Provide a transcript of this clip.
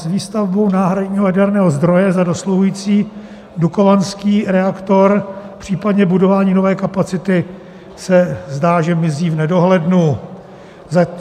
S výstavbou náhradního jaderného zdroje za dosluhující dukovanský reaktor, případně budování nové kapacity, se zdá, že mizí v nedohlednu.